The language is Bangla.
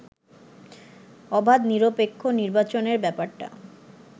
অবাধ নিরপেক্ষ নির্বাচনের ব্যাপারটা